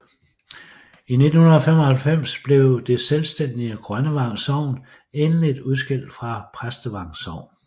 I 1995 blev det selvstændige Grønnevang Sogn endeligt udskilt fra Præstevang Sogn